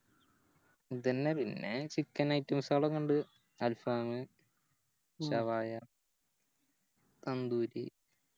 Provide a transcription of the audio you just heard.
ഇതെന്നെ പിന്നെ Chicken items അതോക്കിണ്ട് Alfam shawaya തന്തൂരി